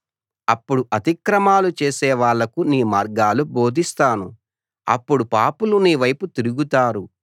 అప్పుడు అతిక్రమాలు చేసేవాళ్ళకు నీ మార్గాలు బోధిస్తాను అప్పుడు పాపులు నీ వైపు తిరుగుతారు